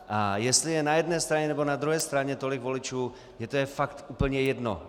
A jestli je na jedné straně nebo na druhé straně tolik voličů, mně je to fakt úplně jedno.